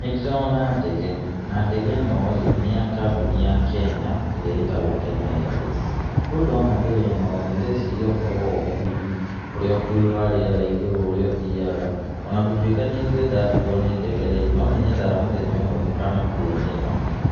Nĩ ndĩrona ndege na ndege ĩno rĩ nĩ ya kambuni ya Kenya ĩrĩa ĩtagwo Kenya Airways. Mũndũ ona ndege ĩno rĩ ndrĩeciria ũhoro wa ũkui ũrĩa ũkui wa rĩera igũrũ ũrĩa ũthiaga, ona gũtuĩka niĩ ndĩrĩ ndakuo nĩ ndege rĩ, no nĩ nyendaga mũthenya ũmwe gũkanakuo nĩyo,